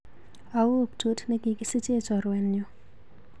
Au brtut nekikisiche chorwenyu?